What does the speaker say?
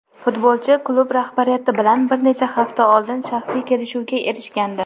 Futbolchi klub rahbariyati bilan bir necha hafta oldin shaxsiy kelishuvga erishgandi.